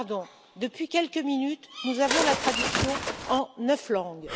Pardon, depuis quelques minutes, nous avons la traduction en neuf langues.